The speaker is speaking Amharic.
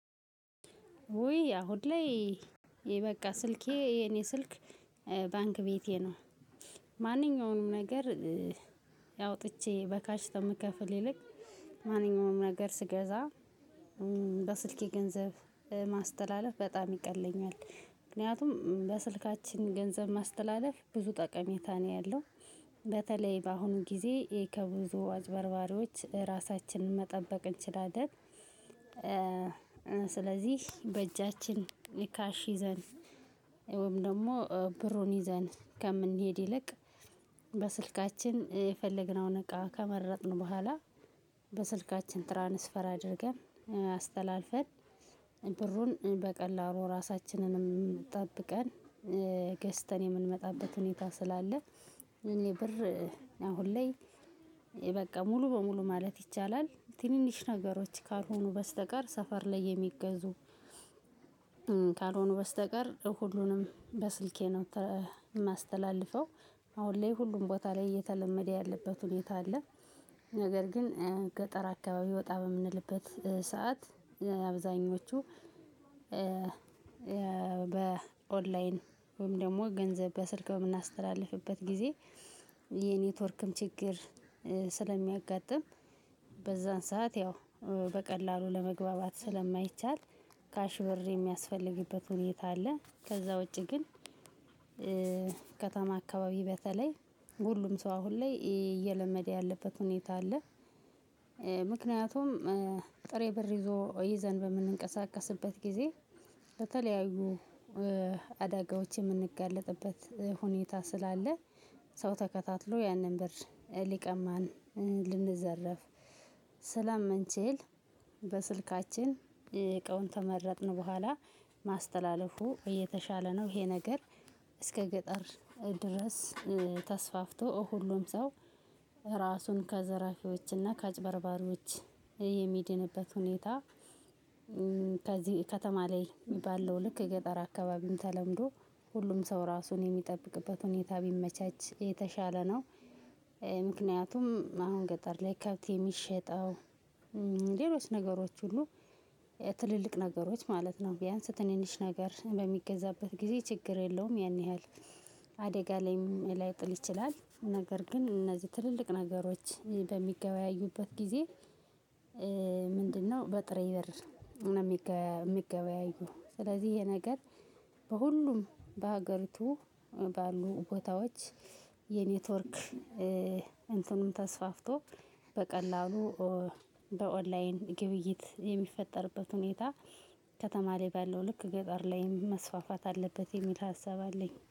ውይ አሁን ላይ ይበቃ ስልኬ የኔ ስልክ ባንክ ቤቴ ነው። ማንኛውንም ነገር አውጥቼ በካሽ ከምከፍል ይልቅ ማንኛውንም ነገር ስገዛ። በስልኬ ገንዘብ ማስተላለፍ በጣም ይቀለኛል። ምክንያቱም በስልካችን ገንዘብ ማስተላለፍ ብዙ ጠቀሜታ ነው ያለው። በተለይ በአሁኑ ጊዜ ከብዙ አጭበርባሪዎች ራሳችንን መጠበቅ እንችላለን። ስለዚህ በእጃችን ካሽ ይዘን ወይም ደግሞ ብሩን ይዘን ከምንሄድ ይልቅ በስልካችን የፈለግነውን እቃ ከመረጥን በኋላ በስልካችን ትራንስፈር አድርገን አስተላልፈን ብሩን በቀላሉ ራሳችንንም ጠብቀን ገዝተን የምንመጣበት ሁኔታ ስላለ። እኔ ብር አሁን ላይ በቃ ሙሉ በሙሉ ማለት ይቻላል ትንንሽ ነገሮች ካልሆኑ በስተቀር ሰፈር ላይ የሚገዙ ካልሆኑ በስተቀር ሁሉንም በስልኬ ነው የማስተላልፈው። አሁን ላይ ሁሉም ቦታ ላይ እየተለመደ ያለበት ሁኔታ አለ። ነገር ግን ገጠር አካባቢ ወጣ በምንልበት ሰዓት አብዛኞቹ በኦንላይን ወይም ደግሞ ገንዘብ በስልክ የምናስተላልፍበት ጊዜ የኔትወርክም ችግር ስለሚያጋጥም። በዛን ሰዓት ያው በቀላሉ ለመግባባት ስለማይቻል ካሽ ብር የሚያስፈልግበት ሁኔታ አለ ከዛ ውጪ ግን። ከተማ አካባቢ በተለይ ሁሉም ሰው አሁን ላይ እየለመደ ያለበት ሁኔታ አለ። ምክንያቱም ጥሬ ብር ይዞ ይዘን በምንቀሳቀስበት ግዜ በተለያዩ አደጋዎች የምንጋለጥበት ሁኔታ ስላለ። ሰው ተከታትሎ ያንን ብር ሊቀማን ልንዘረፍ ስለምንችል በስልካችን እቃውን ከመረጥን ቡሃላ ማስተላለፉ የተሻለ ነው። ይሄ ነገር አስከ ገጠር ድረስ ተስፋፍቶ ሁሉም ሰው አራሱን ከዘራፊዎች እና ከአጭበርባሪዎች የሚድንበት ሁኔታ። ከዚህ ከተማ ላይ ባለው ልክ የገጠር አካባቢም ተለምዶ ሁሉም ሰው ራሱን የሚጠብቅበት ሁኔታ ቢመቻች የተሻለ ነው። ምክንያቱም አሁን ገጠር ላይ ከብት የሚሸጠው ሌሎች ነገሮች ሁሉ ትልልቅ ነገሮች ማለት ነው ቢያንስ ትንንሽ ነገር በሚገዛበት ጊዜ ችግር የለውም ያን ያህል። አደጋ ላይም ላይጥል ይችላል ነገር ግን እነዚህ ትልልቅ ነገሮች በሚገበያዩበት ጊዜ። ምንድነው በጥሬ ብር ነው የሚገበያዩት? ስለዚህ ይሄ ነገር በሁሉም በሀገሪቱ ባሉ ቦታዎች የኔትወርክ እንትኑን ተስፋፍቶ በቀላሉ በኦንላይን ግብይት የሚፈጠርበት ሁኔታ ከተማ ላይ ባለው ልክ ገጠር ላይም መስፋፋት አለበት የሚል ሀሳብ አለኝ